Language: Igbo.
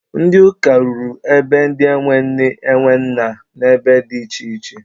Ndị ụka rụrụ be ndị e nwe nne e nwe nna n'ebe dị iche iche.